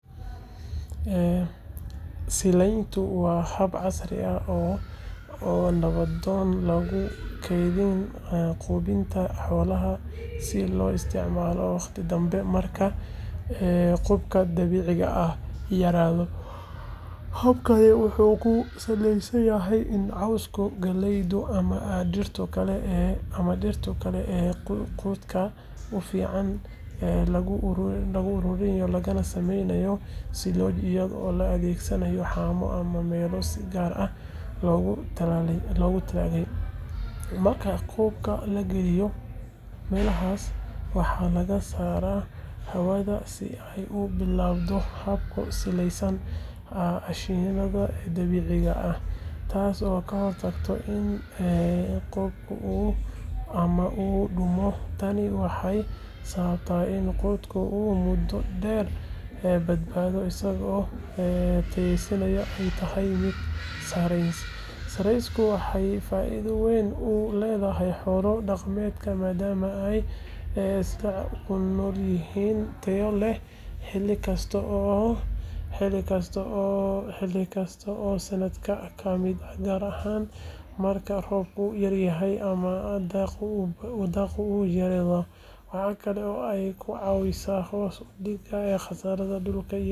Silayntu waa hab casri ah oo nabdoon oo lagu kaydiyo quudinta xoolaha si loo isticmaalo waqti dambe marka quudka dabiiciga ah yaraado. Habkani wuxuu ku salaysan yahay in cawska, galleyda, ama dhirta kale ee quudka u fiican lagu ururiyo lagana sameeyo silooj iyadoo la adeegsanayo haamo ama meelo si gaar ah loogu talagalay. Marka quudka la geliyo meelahaas, waxaa laga saaraa hawada si ay u bilaabato habka siidaaya aashitada dabiiciga ah, taasoo ka hortagta in quudka uu qudhmo ama uu dumo. Tani waxay sababtaa in quudka uu muddo dheer badbaado isagoo tayadiisu ay tahay mid sareysa. Silayntu waxay faa’iido weyn u leedahay xoolo dhaqatada maadaama ay siinayso quud joogto ah oo tayo leh xilli kasta oo sanadka ka mid ah, gaar ahaan marka roobku yaryahay ama daaqa uu yaraado. Waxaa kale oo ay ka caawisaa hoos u dhigidda khasaaraha quudka iyadoo sahleysa kaydinta iyo gaadiidka. Silayntu waa xal waara oo lagula tacaalo isbedbedelka cimilada iyo sugnaanta quudka xoolaha.